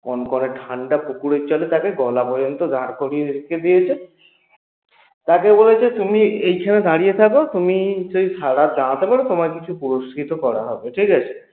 কনকনে ঠান্ডা পুকুরের জলে তাকে গলা পর্যন্ত দাড় করিয়ে রেখে দিয়েছে তাকে বলেছে তুমি এখানে দাড়িয়ে থাকো, তুমি যদি সারারাত দাড়াতে পারো তোমায় কিছু পুরস্কৃত করা হবে ঠিকাছে?